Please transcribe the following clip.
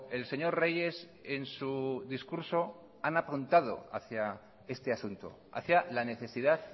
el señor reyes en su discurso han apuntado hacía este asunto hacía la necesidad